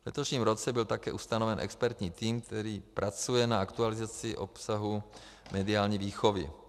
V letošním roce byl také ustaven expertní tým, který pracuje na aktualizaci obsahu mediální výchovy.